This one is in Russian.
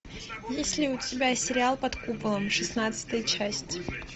есть ли у тебя сериал под куполом шестнадцатая часть